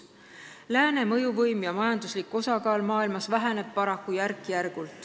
Paraku vähenevad järk-järgult lääne mõjuvõim ja majanduslik osakaal maailmas.